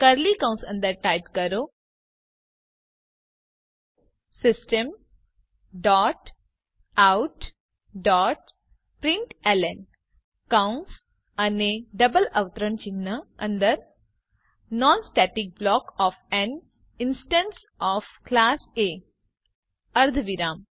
curly કૌંસ અંદર type કરો system dot out dot println કૌંસ અને ડબલ અવતરણ ચિહ્ન અંદર non static block of an instance of class A અર્ધવિરામ